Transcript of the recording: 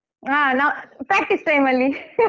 ಹಾ ನ practice time ಅಲ್ಲಿ